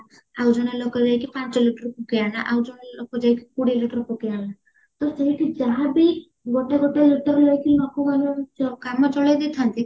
ଆଉ ଜଣେ ଲୋକ ଯାଇକି ପାଞ୍ଚ liter ପକେଇ ଆଣିଲା ଆଉ ଜଣେ ଲୋକ ଯାଇକି କୋଡିଏ liter ପକେଇଆଣିଲା ତ ସେଇଠି ଯାହାବି ଗୋଟେ ଗୋଟେ liter ନେଇକି ଲୋକ ମାନେ କାମ ଚଲେଇ ଦେଇଥାନ୍ତେ